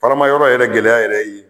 Fara ma yɔrɔ yɛrɛ gɛlɛya yɛrɛ